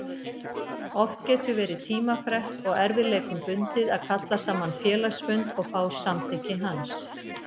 Oft getur verið tímafrekt og erfiðleikum bundið að kalla saman félagsfund og fá samþykki hans.